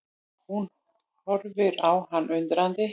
Hún horfir á hann undrandi.